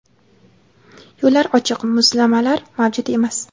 Yo‘llar ochiq, muzlamalar mavjud emas.